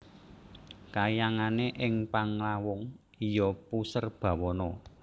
Kahyangane ing Panglawung iya Puserbawana